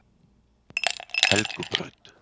Helgubraut